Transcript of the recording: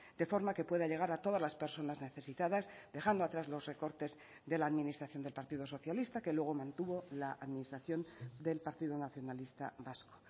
de forma que pueda llegar a todas las personas necesitadas dejando atrás los recortes de la administración del partido socialista que luego mantuvo la administración del partido nacionalista vasco